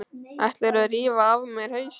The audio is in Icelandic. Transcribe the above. Ætlarðu að rífa af mér hausinn?